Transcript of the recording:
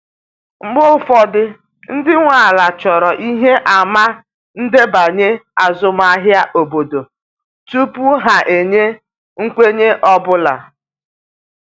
Mgbe ụfọdụ, ndị nwe ala chọrọ ihe àmà ndebanye azụmahịa obodo tupu ha enye nkwenye ọ bụla.